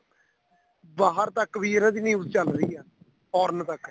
ਬਾਹਰ ਤੱਕ ਵੀ ਇਹਨਾ ਦੀ news ਚੱਲ ਰਹੀ ਏ foreign ਤੱਕ